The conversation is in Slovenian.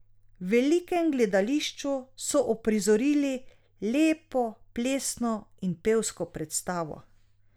V velikem gledališču so uprizorili lepo plesno in pevsko predstavo.